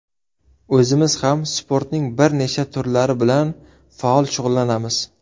O‘zimiz ham sportning bir nechta turlari bilan faol shug‘ullanamiz.